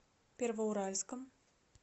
первоуральском